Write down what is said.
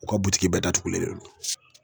U ka butigi bɛɛ datugulen don